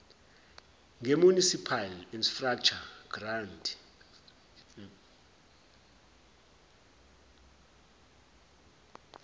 ngemunicipal infrastructure grant